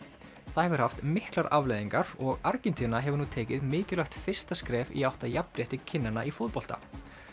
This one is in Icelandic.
það hefur haft miklar afleiðingar og Argentína hefur nú tekið mikilvægt fyrsta skref í átt að jafnrétti kynjanna í fótbolta